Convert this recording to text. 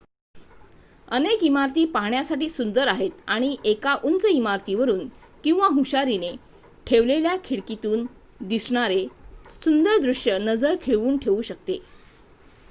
अनेक इमारती पाहण्यासाठी सुंदर आहेत आणि एका उंच इमारतीवरुन किंवा हुशारीने ठेवलेल्या खिडकीतून दिसणारे सुंदर दृश्य नजर खिळवून ठेवू शकते